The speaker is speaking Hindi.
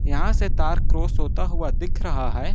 यहां से तार क्रॉस होता हुआ दिख रहा है।